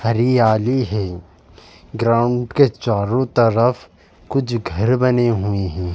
हरियाली है ग्राउंड के चारों तरफ कुछ घर बने हुए हैं।